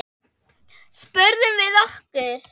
spurðum við okkur.